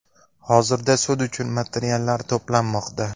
Hozirda sud uchun materiallar to‘planmoqda.